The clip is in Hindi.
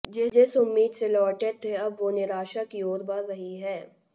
जिस उम्मीद से लौटे थे अब वो निराशा की ओर बढ़ रही है